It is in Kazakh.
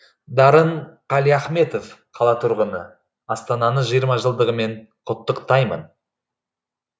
дарын қалиахметов қала тұрғыны астананы жиырма жылдығымен құттықтаймын